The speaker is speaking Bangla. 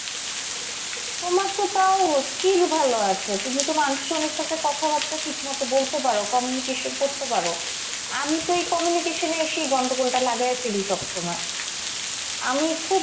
তোমার তো তাও skill ভালো আছে। তুমি তো মানুষের সঙ্গে সাথে কথাবার্তা ঠিকমত বলতে পারো, communication করতে পারো। আমি তো এই communication এ এসেই গন্ডগোলটা লাগায়ে ফেলি সব সময়। আমি খুব,